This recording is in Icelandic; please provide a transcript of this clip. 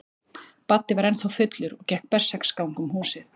Baddi var ennþá fullur og gekk berserksgang um húsið.